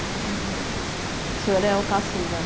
Uhum O senhor é o caçula.